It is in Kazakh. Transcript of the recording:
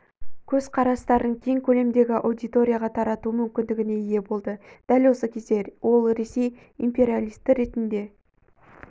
көзқарастарын кең көлемдегі аудиторияға тарату мүмкіндігіне ие болды дәл сол кезде ол ресей империалисті ретінде